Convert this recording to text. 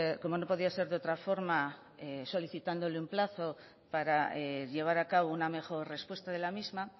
como no podía ser de otra forma solicitándole un plazo para llevar a cabo una mejor respuesta de la misma